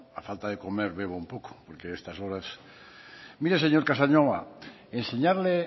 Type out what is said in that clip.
a falta de comer bebo un poco porque a estas horas mire señor casanova enseñarle